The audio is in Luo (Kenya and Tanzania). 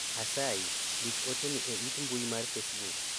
asayi, ndik ote ni e it mbui mar facebook